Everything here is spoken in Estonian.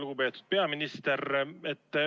Lugupeetud peaminister!